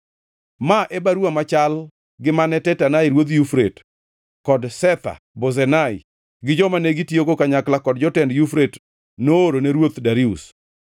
Ma e baruwa machal gi mane Tatenai, ruodh Yufrate, kod Shetha-Bozenai gi joma negitiyogo kanyakla, kod jotend Yufrate, noorone Ruoth Darius.